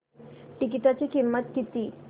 तिकीटाची किंमत किती